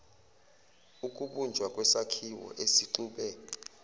ukubunjwa kwesakhiwo esixube